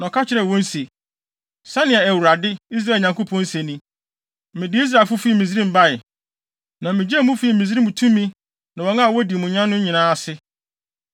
na ɔka kyerɛɛ wɔn se, “Sɛnea Awurade, Israel Nyankopɔn, se ni, ‘Mede Israelfo fii Misraim bae, na migyee mo fii Misraim tumi ne wɔn a wodi mo nya no nyinaa ase.’